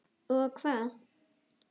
Og hvað.?